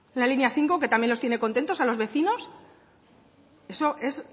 una línea cinco que los tiene contentos a los vecinos eso es